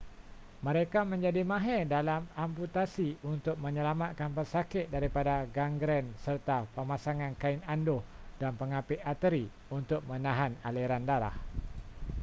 mereka menjadi mahir dalam amputasi untuk menyelamatkan pesakit daripada gangren serta pemasangan kain anduh dan pengapit arteri untuk menahan aliran darah